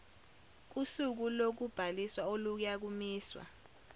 kusuku lokubhaliswa oluyakumiswa